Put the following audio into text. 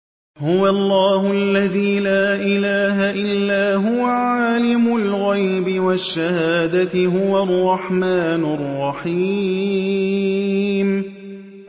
هُوَ اللَّهُ الَّذِي لَا إِلَٰهَ إِلَّا هُوَ ۖ عَالِمُ الْغَيْبِ وَالشَّهَادَةِ ۖ هُوَ الرَّحْمَٰنُ الرَّحِيمُ